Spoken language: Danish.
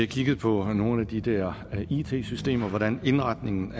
kigget på nogle af de der it systemer og hvordan indretningen